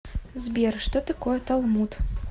сбер что такое талмуд